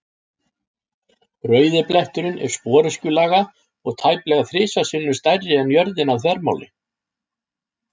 Rauði bletturinn er sporöskjulaga og tæplega þrisvar sinnum stærri en jörðin að þvermáli.